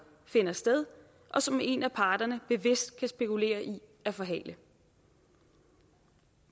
finder sted og som en af parterne bevidst kan spekulere i at forhale